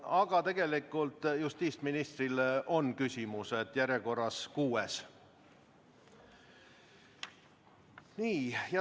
Aga tegelikult justiitsministrile on täna küsimus, järjekorras kuues.